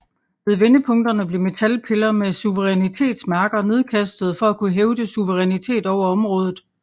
Ved vendepunkterne blev metalpiller med suverænitetsmærker nedkastede for at kunne hævde suverænitet over området